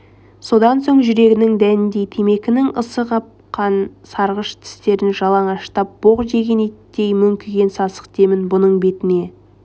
содан соң жүгерінің дәніндей темекінің ысы қапқан сарғыш тістерін жалаңаштап боқ жеген иттей мүңкіген сасық демін бұның бетіне